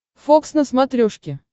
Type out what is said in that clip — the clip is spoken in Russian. фокс на смотрешке